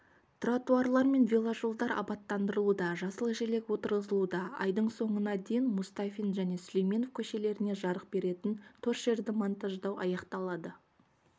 тротуарлар мен веложолдар абаттандырылуда жасыл желек отырғызылуда айдың соңына дейін мұстафин және сүлейменов көшелеріне жарық беретін торшерді монтаждау аяқталады